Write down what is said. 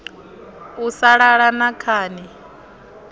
u sa lala na khani